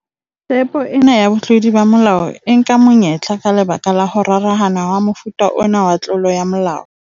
"Tepo ena ya botlodi ba molao e nka monyetla ka lebaka la ho rarahana hwa mofuta ona wa tlolo ya molao."